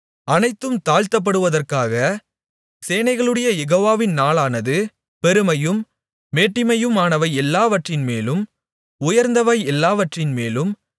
அனைத்தும் தாழ்த்தப்படுவதற்காக சேனைகளுடைய யெகோவாவின் நாளானது பெருமையும் மேட்டிமையுமானவை எல்லாவற்றின்மேலும் உயர்ந்தவை எல்லாவற்றின்மேலும்